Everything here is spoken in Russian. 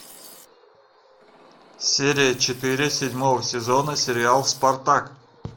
серия четыре седьмого сезона сериал спартак